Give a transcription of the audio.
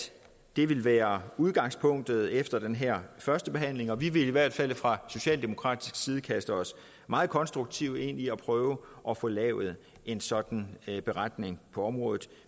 det vil være udgangspunktet efter den her førstebehandling og vi vil i hvert fald fra socialdemokratisk side kaste os meget konstruktivt ind i at prøve at få lavet en sådan beretning på området